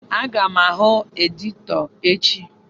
Aga m ahụ editọ echi.